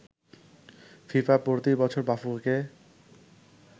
FIFA প্রতিবছর বাফুফেকে